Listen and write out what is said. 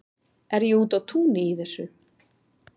Er ég úti á túni í þessu?